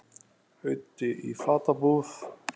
Auddi í fatabúð